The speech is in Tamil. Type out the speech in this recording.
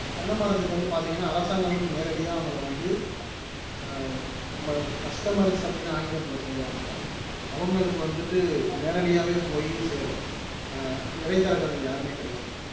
தென்ன மரத்துக்கு வந்து பாத்தீங்கன்னா அரசாங்கமும் நேரடியா அவங்கள வந்து ஆஹ் நம்ம customers அப்படீன்னு ஆங்கிலத்துல சொல்லுவாங்க அவங்களுக்கு வந்துட்டு நேரடியாவே போய் சேரும் ஆஹ் இடைத்தரகர்கள் யாருமே கிடையாது